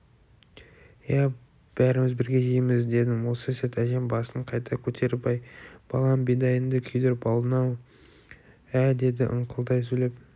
иә бәріміз бірге жейміз дедім осы сәт әжем басын қайта көтеріп әй балам бидайыңды күйдіріп алдың-ау ә деді ыңқылдай сөйлеп